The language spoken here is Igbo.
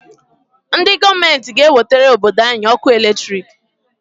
Ndị gọọmenti g'ewetara obodo anyị ọkụ latrik.